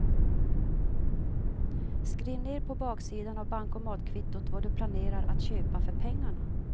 Skriv ner på baksidan av bankomatkvittot vad du planerar att köpa för pengarna.